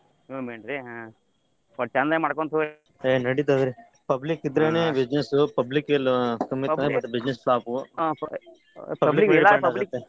ನೀವ main ರ್ರೀ ಹ್ಮ್ ಒಟ್ಟ ಚಂದಾಗ ಮಾಡಕೊಂಡ ಮಾಡಕೋಂತ ಹೋಗ್ರಿ .